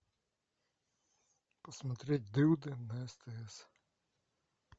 посмотреть дылды на стс